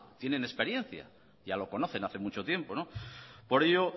tienen experiencia ya lo conocen hace mucho tiempo por ello